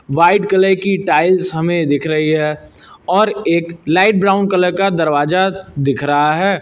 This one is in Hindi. व्हाइट कलर की टाइल्स हमें दिख रही है और एक लाइट ब्राउन कलर का दरवाजा दिख रहा है।